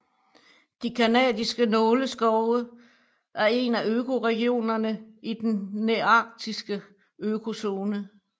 De canadiske nåleskove er en af økoregionerne i i den nearktiske økozone